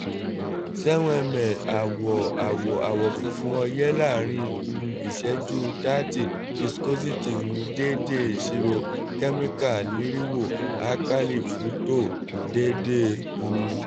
seven ml [cs[ awọ awọ awọ funfun oye laarin um iṣẹju [thirty viscosity um deede iṣiro? alkali fructose deede um